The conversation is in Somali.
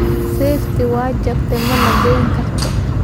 Seeftii way jabtay, mana goyn karto.